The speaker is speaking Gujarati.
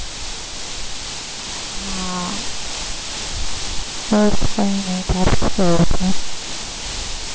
હા ચલ કઈ નઈ